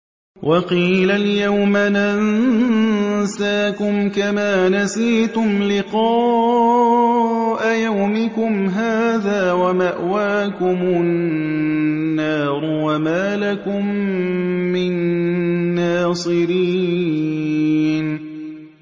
وَقِيلَ الْيَوْمَ نَنسَاكُمْ كَمَا نَسِيتُمْ لِقَاءَ يَوْمِكُمْ هَٰذَا وَمَأْوَاكُمُ النَّارُ وَمَا لَكُم مِّن نَّاصِرِينَ